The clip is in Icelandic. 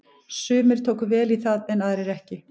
Sumir tóku vel í það en aðrir ekki.